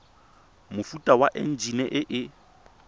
mofuta wa enjine e e